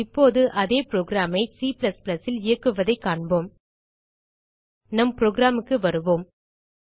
இப்போது அதே programஐ C ல் இயக்குவதைக் காண்போம் நம் programக்கு வருவோம்